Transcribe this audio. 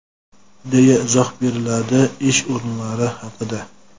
deya izoh beriladi ish o‘rinlari haqida..